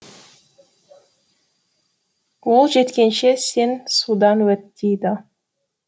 ол жеткенше сен судан өт дейді